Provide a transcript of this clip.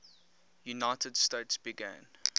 united states began